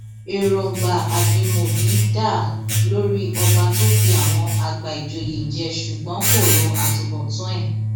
èròǹgbà ajimobi dáa lórí ọba tó fi àwọn àgbà ìjòyè jẹ ṣùgbọn kò ro àtúbọtán ẹ